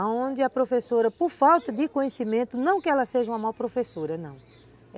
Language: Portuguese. Aonde a professora, por falta de conhecimento, não que ela seja uma má professora, não.